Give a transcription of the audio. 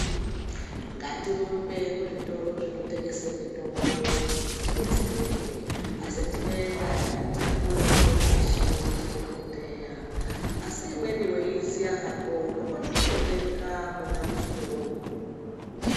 Ngatirumbe kuzvitoro zvinotengese mitombo kuti tidetsereke. Asi tinoenda tanyorerwe pashi ndidhogodheya. Asi imweni weiiziya hako unokone kundotenga mwona muchitoromo.